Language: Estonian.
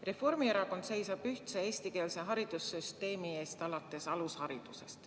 Reformierakond seisab ühtse eestikeelse haridussüsteemi eest alates alusharidusest.